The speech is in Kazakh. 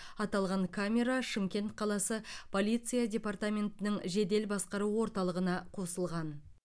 аталған камера шымкент қаласы полиция департаментінің жедел басқару орталығына қосылған